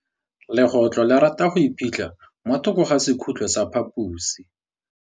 Legôtlô le rata go iphitlha mo thokô ga sekhutlo sa phaposi.